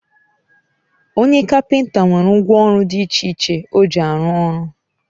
Onye kapinta nwere ngwọ ọrụ di iche iche o ji arụ ọrụ